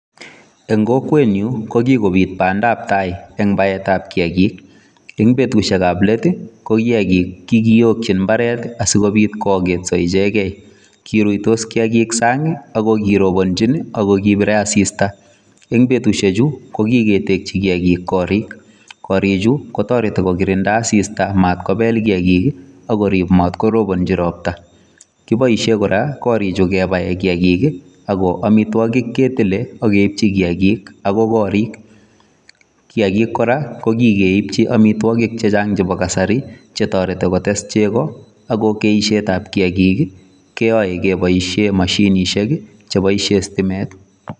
En kokwenyun kogikobit bandap tai en baitab kiyagik. Eng' betushek ak let ko kiyagik kokiyokin mbaret asikobit koagetso ichegen. Kiruitos kiyagik sang' ago kirobonchin ago kibire asista. En betushechu kogiketeki kiyakik koorik. Korichu kotoreti kogikirinda asista matkobel kiyagik ak korib mat korobonchi ropta. Kiboishen kora korichu kebaen kiyagik ago amitwogik ketile ak keibchi kiyagik agoi korik. Kiyagik kora kogikeibchi amitwogik che chang' chebo kasari che toreti kotes chego ago keishetab kiyagik keyoe keboishen mashinishek che boishen sitimet.